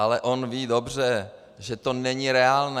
Ale on ví dobře, že to není reálné.